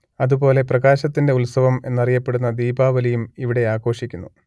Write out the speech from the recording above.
അതു പോലെ പ്രകാശത്തിന്റെ ഉത്സവം എന്നറിയപ്പെടുന്ന ദീപാവലിയും ഇവിടെ ആഘോഷിക്കുന്നു